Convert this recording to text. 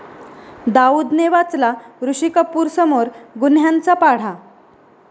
दाऊदने वाचला ऋषी कपूरसमोर गुन्ह्यांचा पाढा